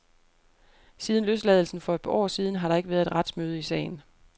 Siden løsladelsen for et år siden har der ikke været et retsmøde i sagen.